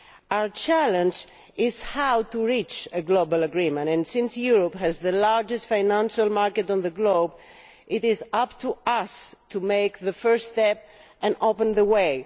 Our challenge is how to reach a global agreement, and since Europe has the largest financial market in the world it is up to us to make the first step and open the way.